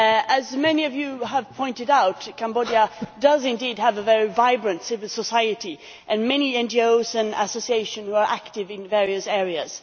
As many of you have pointed out, Cambodia does indeed have a very vibrant civil society, and many NGOs and associations are active in various areas.